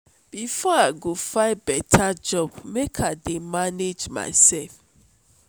before i go find beta job make i dey manage mysef.